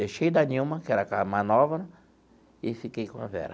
Deixei da Nilma, que era a mais nova, e fiquei com a Vera.